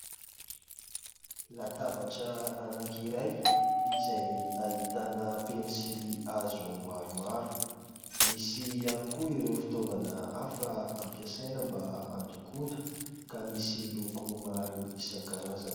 Latabatra anakiray izay ahitana pensily hazo maromaro. Misy ihany koa ireo fitaovana hafa ampiasaina mba an-dokoana ka misy loko maro isan-karazany.